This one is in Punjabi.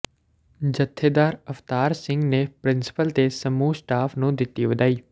ਜੱਥੇਦਾਰ ਅਵਤਾਰ ਸਿੰਘ ਨੇ ਪ੍ਰਿੰਸੀਪਲ ਤੇ ਸਮੂਹ ਸਟਾਫ਼ ਨੂੰ ਦਿੱਤੀ ਵਧਾਈ